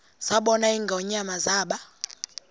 zabona ingonyama zaba